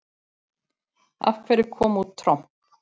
Af hverju kom út tromp?